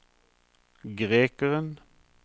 grekeren